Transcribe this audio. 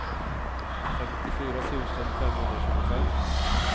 femtiofyra tusen femhundratjugofem